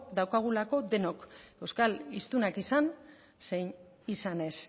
daukagulako denok euskal hiztunak izan zein izan ez